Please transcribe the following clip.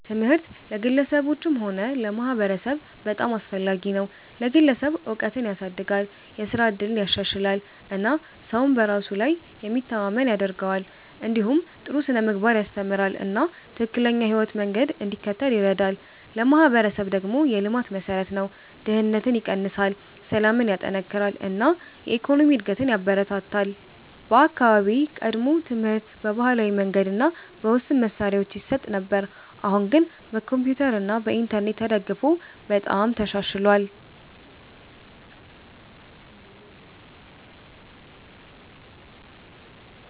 ትምህርት ለግለሰቦችም ሆነ ለማህበረሰብ በጣም አስፈላጊ ነው። ለግለሰብ እውቀትን ያሳድጋል፣ የስራ እድልን ያሻሽላል እና ሰውን በራሱ ላይ የሚተማመን ያደርገዋል። እንዲሁም ጥሩ ስነ-ምግባርን ያስተምራል እና ትክክለኛ የህይወት መንገድ እንዲከተል ይረዳል። ለማህበረሰብ ደግሞ የልማት መሠረት ነው፤ ድህነትን ይቀንሳል፣ ሰላምን ያጠናክራል እና የኢኮኖሚ እድገትን ያበረታታል። በአካባቢዬ ቀድሞ ትምህርት በባህላዊ መንገድ እና በውስን መሳሪያዎች ይሰጥ ነበር፣ አሁን ግን በኮምፒውተር እና በኢንተርኔት ተደግፎ በጣም ተሻሽሏል።